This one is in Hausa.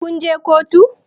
Kun je kotu?